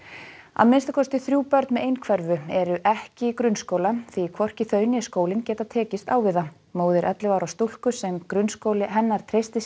að minnsta kosti þrjú börn með einhverfu eru ekki í grunnskóla því hvorki þau né skólinn geta tekist á við það móðir ellefu ára stúlku sem grunnskóli hennar treystir